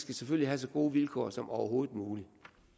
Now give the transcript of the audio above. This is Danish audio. det selvfølgelig have så gode vilkår som overhovedet muligt